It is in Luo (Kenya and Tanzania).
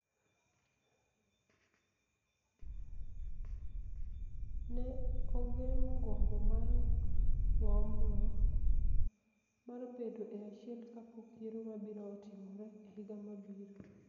ne ogeng�o gombo mar ng�omno mar bedo e achiel kapok yiero mabiro timore e higa mabiro.